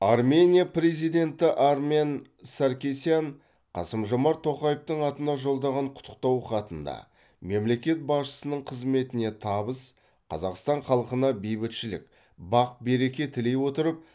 армения президенті армен саркисян қасым жомарт тоқаевтың атына жолдаған құттықтау хатында мемлекет басшысының қызметіне табыс қазақстан халқына бейбітшілік бақ береке тілей отырып